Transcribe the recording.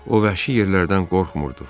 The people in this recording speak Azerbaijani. O vəhşi yerlərdən qorxmurdu.